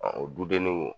Ɔ o dudennenw